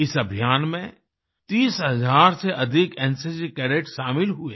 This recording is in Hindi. इस अभियान में 30 हज़ार से अधिक एनसीसी कैडेट्स शामिल हुए